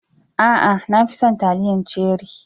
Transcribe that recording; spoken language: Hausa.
A'a, na fi son taliyar ceri.